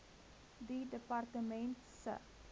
die departement se